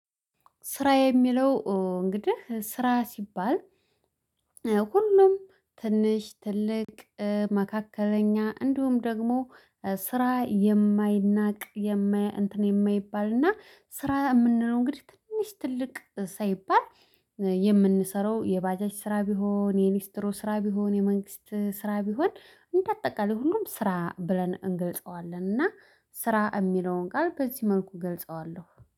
ስራ የሚለው እንግዲህ ስራ ሲባል ሁሉም ትንሽ ትልቅ መካከለኛ እንዲሁም ደግሞ ስራ የማይናቅ የማያ እንትን የማይባል እና ስራ የምንለው እንግዲህ ትንሽ ትልቅ ሳይባል። የምንሰራው የባጃች ስራ ቢሆን የሊስትሮ ስራ ቢሆን የመንግስት ስራ ቢሆን እንደ አጠቃላይ ሁሉም ስራ ብለን እንገልጸዋለን እና ስራ የሚለውን ቃል በዚህ መልኩ እገልጸዋለሁ